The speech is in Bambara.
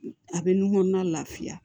A bɛ nun kɔnɔna lafiya